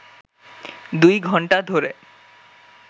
দুই ঘণ্টা ধরে